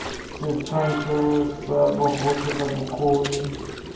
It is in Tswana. setshwantsho sa bogotlhe sa bokgoni